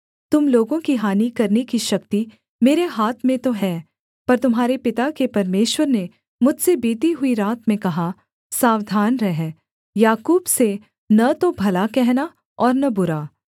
तुम लोगों की हानि करने की शक्ति मेरे हाथ में तो है पर तुम्हारे पिता के परमेश्वर ने मुझसे बीती हुई रात में कहा सावधान रह याकूब से न तो भला कहना और न बुरा